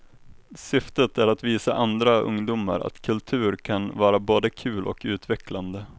Syftet är att visa andra ungdomar att kultur kan vara både kul och utvecklande.